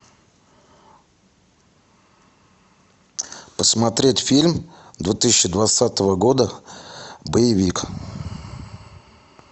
посмотреть фильм две тысячи двадцатого года боевик